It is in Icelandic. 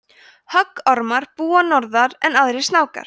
höggormar búa norðar en aðrir snákar